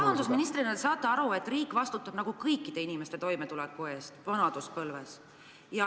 Rahandusministrina te saate aru, et riik vastutab kõikide inimeste toimetuleku eest vanaduspõlves.